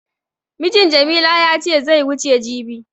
Mijin Jamila ya ce zai wuce jibi.